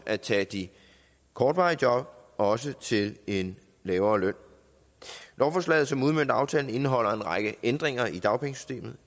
at tage de kortvarige job også til en lavere løn lovforslaget som udmønter aftalen indeholder en række ændringer i dagpengesystemet